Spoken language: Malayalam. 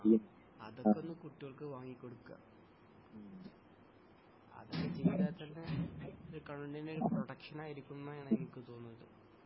ആ അതൊകൊന്ന് കുട്ട്യോൾക്ക് വാങ്ങി കൊടുക്കെ അത് വെച്ചുകഴിഞ്ഞാത്തന്നെ കണ്ണിന് പ്രൊട്ടക്ഷൻ ആയിരിക്കും എന്നാണ് എനിക്ക് തോന്നുന്നത്